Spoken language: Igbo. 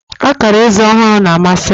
Akara eze ọhụrụ na-amasị m